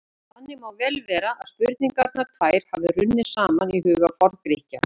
Þannig má vel vera að spurningarnar tvær hafi runnið saman í huga Forngrikkja.